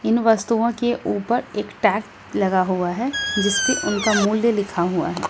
इन वस्तुओं के ऊपर एक टैग लगा हुआ है जिसपे उनका मूल्य लिखा हुआ है।